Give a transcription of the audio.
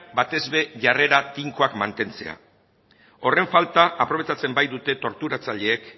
batez ere jarrera tinkoak mantentzea horren falta aprobetxatzen baitute torturatzaileek